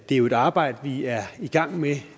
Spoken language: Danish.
er jo et arbejde vi er i gang med